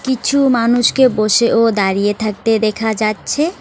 কিছু মানুষকে বসে ও দাঁড়িয়ে থাকতে দেখা যাচ্ছে।